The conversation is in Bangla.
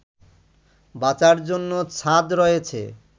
বাঁচার জন্য ছাদ রয়েছে